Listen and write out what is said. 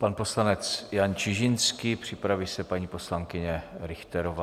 Pan poslanec Jan Čižinský, připraví se paní poslankyně Richterová.